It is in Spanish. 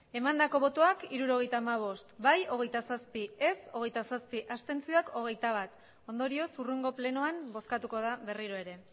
resultado de la votación setenta y cinco votos emitidos veintisiete votos a favor veintisiete votos en contra veintiuno abstenciones ondorioz hurrengo plenoan bozkatuko da ere